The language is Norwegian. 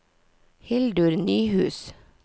Hildur Nyhus